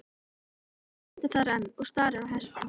Stúlkan stendur þar enn og starir á hestinn.